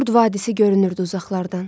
Qurd vadisi görünürdü uzaqlardan.